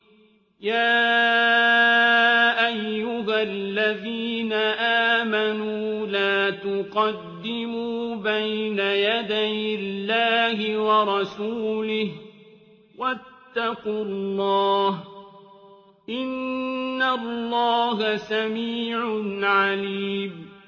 يَا أَيُّهَا الَّذِينَ آمَنُوا لَا تُقَدِّمُوا بَيْنَ يَدَيِ اللَّهِ وَرَسُولِهِ ۖ وَاتَّقُوا اللَّهَ ۚ إِنَّ اللَّهَ سَمِيعٌ عَلِيمٌ